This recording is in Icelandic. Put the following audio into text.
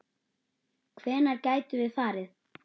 Hvenær getum við farið?